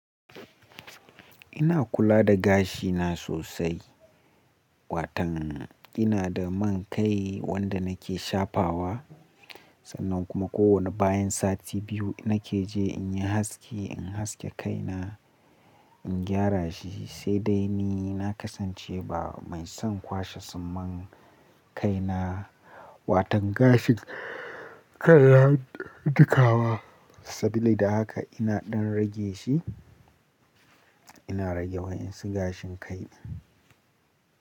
Ina kula da gashi na sosai. Watan ina da man kai wanda nake shafawa. Sannan kuma kowane bayan sati biyu nake je in yi haski, in haske kai na, in gyara shi. Sai dai ni na kasance ba mai son kwashe suman kai na, watan gashin kai ya duka wa. Sabili da haka ina ɗan rage shi. Ina rage wayansu gashin kai.